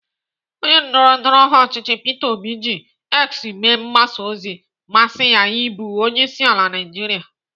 Onye ndọrọndọrọ ọchịchị Peter obi ji X mee mgbasa ozi mmasị ya ịbụ onyeisiala Naijiria.